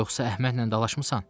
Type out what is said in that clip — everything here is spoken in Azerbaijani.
Yoxsa Əhmədlə dalaşmısan?